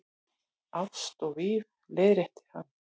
Ást og víf- leiðrétti hann.